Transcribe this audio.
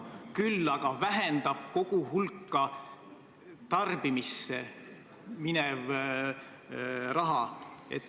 Küll aga vähendab pensioniraha koguhulka tarbimisse minev raha.